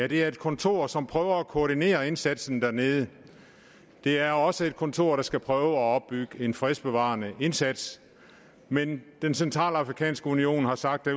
det er et kontor som prøver at koordinere indsatsen dernede det er også et kontor der skal prøve at opbygge en fredsbevarende indsats men den centralafrikanske union har sagt at